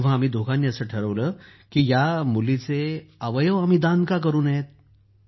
तेव्हा आम्ही दोघांनी असं ठरवलं की या मुलीचे अवयव आम्ही दान का करू नयेत